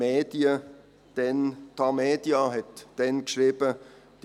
Die «Tamedia» schrieb damals: